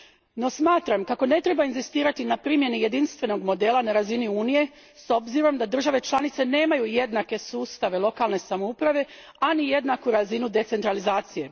No smatram kako ne treba inzistirati na primjeni jedinstvenog modela na razini Unije s obzirom da države članice nemaju jednake sustave lokalne samouprave, a ni jedanku razinu decentralizacije.